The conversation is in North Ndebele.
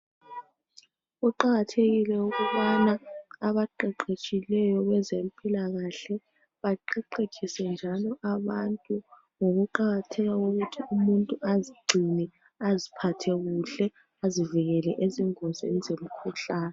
Kuqakathekile ukubana abaqeqetshileyo bezempilakahle beqeqekise njalo abantu ngokuqakatheka kokuthi umuntu azigcine aziphathekuhle azivikele engozini zemikhuhlane .